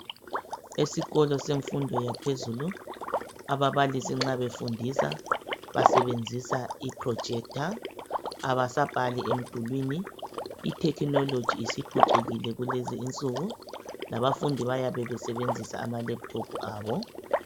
Esikolo semfundo yaphezulu ababalisi nxa befundisa basebenzisa iprojector abasabhali emdulwini itechnology isiphucukile kulezinsuku labafundi bayabe besebenzisa amalephuthophu abo.